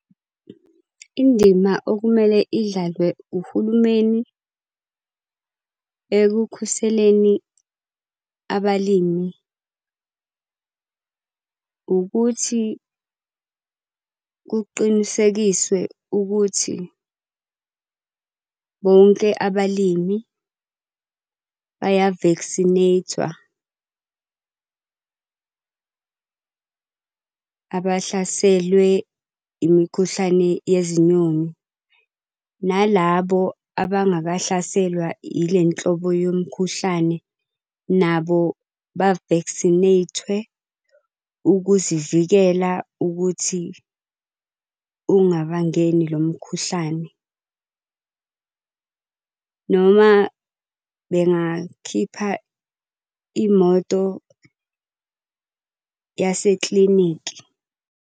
Indima okumele idlalwe uhulumeni ekukhuseleni abalimi, ukuthi kuqinisekiswe ukuthi bonke abalimi baya-vaccinate-wa. Abahlaselwe imikhuhlane yezinyoni nalabo abangakahlaselwa ile nhlobo yomkhuhlane, nabo ba-vaccinate-we ukuzivikela ukuthi ungabangeni lo mkhuhlane. Noma bengakhipha imoto yaseklinikhi.